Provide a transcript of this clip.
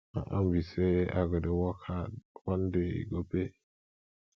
my own be say i go dey work hard one day e go pay